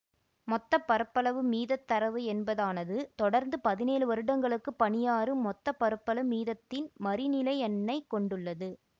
மொத்த பரப்பளவு மீதத் தரவு என்பதானது தொடர்ந்து பதினேழு வருடங்களுக்கு பனியாறு மொத்த பரப்பளவு மீதத்தின் மறிநிலை எண்ணை கொண்டுள்ளது